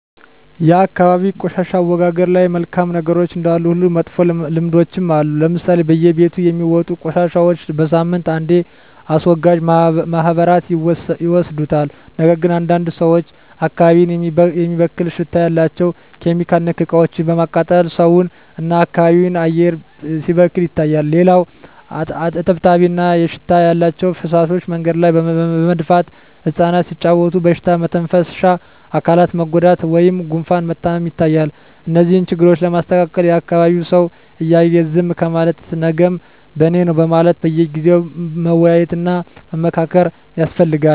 የአካባቢ የቆሻሻ አወጋገድ ላይ መልካም ነገሮች እንዳሉ ሁሉ መጥፎ ልምዶችም አሉ ለምሳሌ በየቤቱ የሚወጡ ቆሻሻዎች በሳምንት አንዴ አስወጋጅ ማህበራት ይወስዱታል ነገር ግን አንዳንድ ሰዎች አካባቢን የሚበክል ሽታ ያላቸው (ኬሚካል)ነክ እቃዎችን በማቃጠል ሰውን እና የአካባቢ አየር ሲበከል ይታያል። ሌላው እጥብጣቢ እና ሽታ ያላቸው ፍሳሾች መንገድ ላይ በመድፋት እፃናት ሲጫዎቱ በሽታ መተንፈሻ አካላት መጎዳት ወይም ጉፋን መታመም ይታያል። እነዚህን ችግሮች ለማስተካከል የአካቢዉ ሰው እያየ ዝም ከማለት ነገም በኔነው በማለት በየጊዜው መወያየት እና መመካከር ያስፈልጋል።